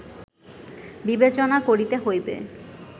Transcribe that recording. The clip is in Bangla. বিবেচনা করিতে হইবে